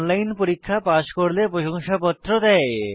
online পরীক্ষা pass করলে প্রশংসাপত্র দেয়